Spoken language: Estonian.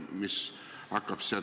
Võin siia tuua veel ühe paralleeli.